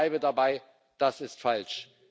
Ich bleibe dabei Das ist falsch!